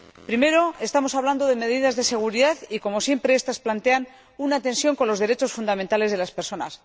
Primero, estamos hablando de medidas de seguridad y, como siempre, estas plantean una tensión con los derechos fundamentales de las personas.